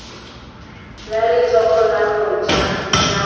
la letsogo la moja la